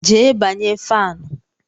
Jee banye fanụ!